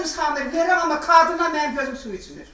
Dedim Samir verirəm, amma qadına mənim gözüm su içmir.